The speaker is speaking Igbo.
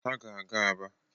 Ha ga-aga Aba